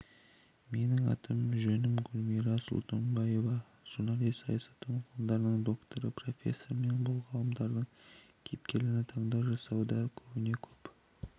менің аты жөнім гүлмира сұлтанбаева журналист саясаттану ғылымдарының докторы профессор бұл оқиғалардың кейіпкерлері таңдау жасауда көбіне-көп